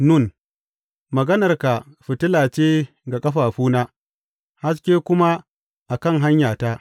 Nun Maganarka fitila ce ga ƙafafuna haske kuma a kan hanyata.